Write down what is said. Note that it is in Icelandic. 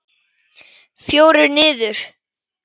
Fjórir niður!